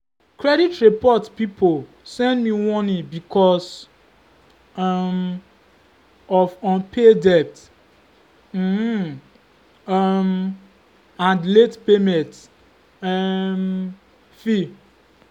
credit report people send me warning because um of unpaid debt um um and late payment um fee.